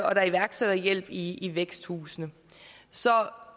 og der er iværksætterhjælp i i væksthusene så